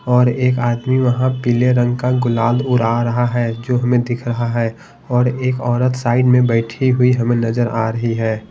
और एक आदमी वहां पीले रंग का गुलाल उड़ा रहा है जो हमें दिख रहा हैऔर एक औरत साइड में बैठी हुई हमें नजर आ रही है।